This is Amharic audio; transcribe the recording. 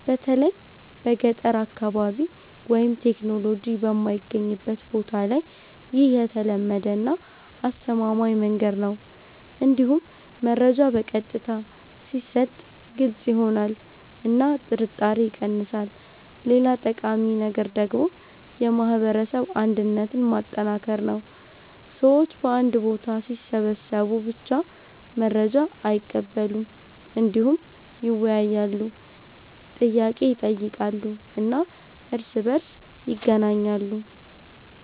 በተለይ በገጠር አካባቢ ወይም ቴክኖሎጂ የማይገኝበት ቦታ ላይ ይህ የተለመደ እና አስተማማኝ መንገድ ነው። እንዲሁም መረጃ በቀጥታ ሲሰጥ ግልጽ ይሆናል እና ጥርጣሬ ይቀንሳል። ሌላ ጠቃሚ ነገር ደግሞ የማህበረሰብ አንድነትን ማጠናከር ነው። ሰዎች በአንድ ቦታ ሲሰበሰቡ ብቻ መረጃ አይቀበሉም፣ እንዲሁም ይወያያሉ፣ ጥያቄ ይጠይቃሉ እና እርስ በእርስ ይገናኛሉ።